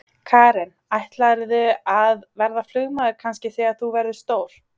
Karen: Ætlarðu að verða flugmaður kannski þegar þú verður stór?